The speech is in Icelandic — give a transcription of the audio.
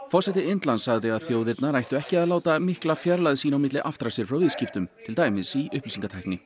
forseti Indlands sagði að þjóðirnar ættu ekki að láta mikla fjarlægð sín á milli aftra sér frá viðskiptum til dæmis í upplýsingatækni